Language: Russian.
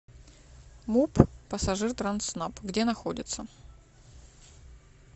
муп пассажиртрансснаб где находится